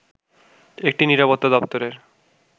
একটি নিরাপত্তা দপ্তরের